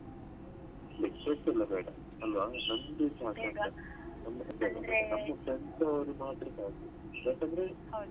Lectures ಎಲ್ಲಾ ಬೇಡ ಅಲ್ವಾ ನಮ್ಮ್ದು ನಮ್ಮದು tenth ಅವರು ಮಾತ್ರ ಸಾಕು ಯಾಕಂದ್ರೆ .